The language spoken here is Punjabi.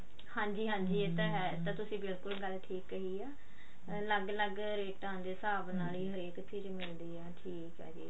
ਹਾਂਜੀ ਹਾਂਜੀ ਹੈ ਇਹ ਤਾਂ ਤੁਸੀਂ ਬਿਲਕੁਲ ਗੱਲ ਠੀਕ ਕਹਿ ਹੈ ਲੱਗ ਲੱਗ ਰੇਟਾਂ ਦੇ ਹਿਸਾਬ ਨਾਲ ਹੀ ਹਰ ਇਕ ਚੀਜ਼ ਮਿਲਦੀ ਆ ਠੀਕ ਆ ਜੀ